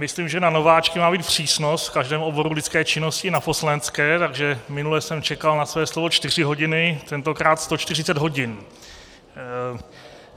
Myslím, že na nováčky má být přísnost v každém oboru lidské činnosti, na poslanecké, takže minule jsem čekal na své slovo čtyři hodiny, tentokrát 140 hodin.